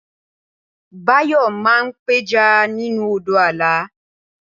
Báyò̩ máa ń pe̩ja nínú odò Àlà